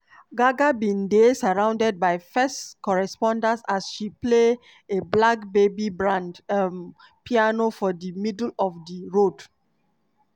gaga bin dey surrounded by first responders as she play a black baby grand um piano for di middle of di road.